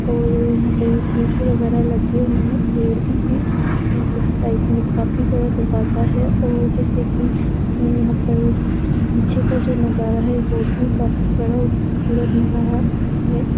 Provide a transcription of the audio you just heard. और यहाँ पे वगेरा लगे हुए है। पेड़ भी है। यहाँ पे एक साइड में काफी बड़ा दरवाजा है। और जैसे कि यहाँ पर पीछे का जो नज़ारा है वो भी काफी बढ़िया खूबसूरत नज़ारा है।